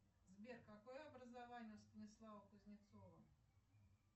сбер какое образование у станислава кузнецова